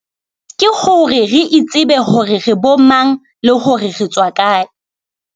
Ke hore re itsebe hore re bo mang le hore re tswa kae.